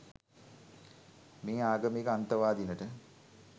මේ ආගමික අන්තවාදීනට